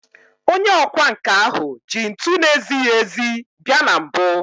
Onye ọkwá nkà ahụ ji ntu na-ezighị ezi bia na mbụ